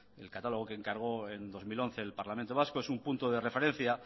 el catálogo que encargó en dos mil once el parlamento vasco es un punto de referencia